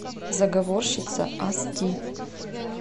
заговорщица ас ди